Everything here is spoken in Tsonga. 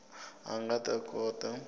a a nga ta kota